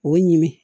O ye ɲini